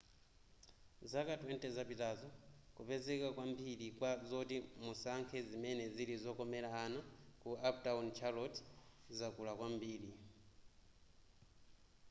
zaka 20 zapitazo kupezeka kwambiri kwa zoti musankhe zimene zili zokomera ana ku uptown charlotte zakula kwambiri